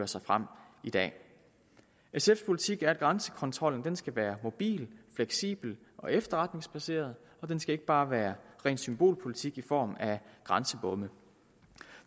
sig frem i dag sfs politik er at grænsekontrollen skal være mobil fleksibel og efterretningsbaseret den skal ikke bare være ren symbolpolitik i form af grænsebomme